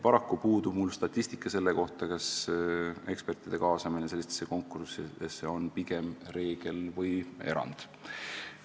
" Paraku puudub mul statistika selle kohta, kas ekspertide kaasamine sellistesse konkurssidesse on pigem reegel või erand.